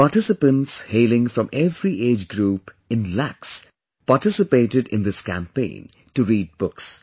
Participants hailing from every age group in lakhs, participated in this campaign to read books